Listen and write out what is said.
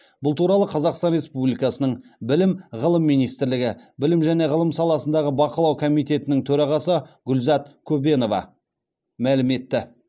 бұл туралы қазақстан республикасының білім ғылым министрлігі білім және ғылым саласындағы бақылау комитетінің төрағасы гүлзат көбенова мәлім етті